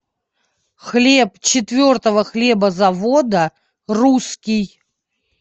хлеб четвертого хлебозавода русский